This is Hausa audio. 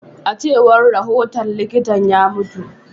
A cewar rahoton likitan, ya mutu.